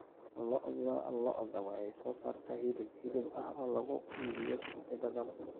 Lo'da lo'da waxay soo saartaa hilib hilib ah oo lagu iibiyo suuqyada dalka.